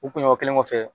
U kunɲɔgɔn kelen kɔfɛ